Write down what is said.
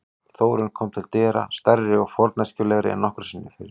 Þórunn kom til dyra, stærri og forneskjulegri en nokkru sinni fyrr.